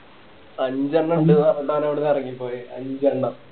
അഞ്ചെണ്ണം എന്തോ അവിടുന്ന് ഇറങ്ങിപോയെ അഞ്ചെണ്ണം